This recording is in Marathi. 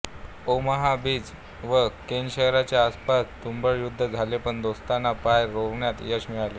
ओमाहा बीच व केन शहरांच्या आसपास तुंबळ युद्ध झाले पण दोस्तांना पाय रोवण्यात यश मिळाले